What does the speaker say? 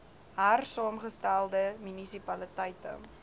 hersaamge stelde munisipaliteite